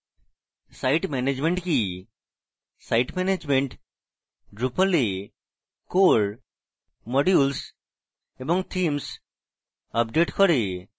site management কি site management: drupal এ core modules এবং themes আপডেট করে